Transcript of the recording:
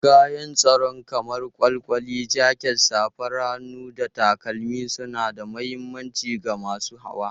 Kayan tsaro kamar kwalkwali, jaket, safar hannu, da takalma suna da mahimmanci ga masu hawa.